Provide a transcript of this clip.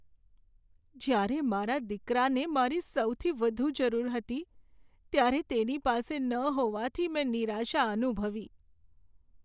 જ્યારે મારા દીકરાને મારી સૌથી વધુ જરૂર હતી ત્યારે તેની પાસે ન હોવાથી મેં નિરાશા અનુભવી.